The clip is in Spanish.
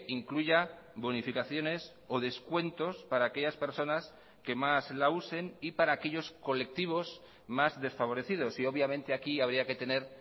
incluya bonificaciones o descuentos para aquellas personas que más la usen y para aquellos colectivos más desfavorecidos y obviamente aquí habría que tener